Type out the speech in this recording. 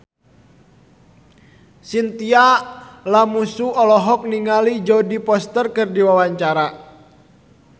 Chintya Lamusu olohok ningali Jodie Foster keur diwawancara